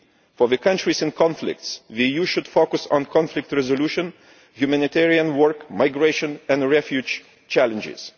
For countries in conflict, the EU should focus on conflict resolution, humanitarian work, migration and refugee challenges.